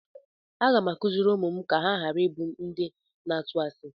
Aga m akụziri ụmụ m ka ha ghara ịbụ ndị na-atụ asi.